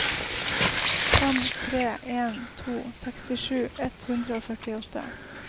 fem tre en to sekstisju ett hundre og førtiåtte